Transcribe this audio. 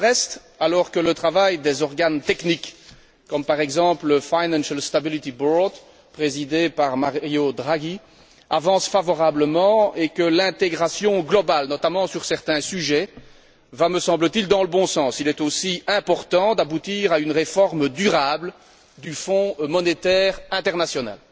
Pour le reste, alors que le travail des organes techniques, comme par exemple le Financial Stability Board présidé par Mario Draghi, avance favorablement et que l'intégration globale, notamment sur certains sujets, va me semble t il dans le bon sens, il est aussi important d'aboutir à une réforme durable du Fonds monétaire international.